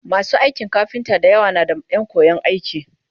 masu aikin kafinta da yawa na da Ƴan koyan aiki